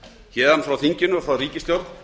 héðan frá þinginu frá ríkisstjórn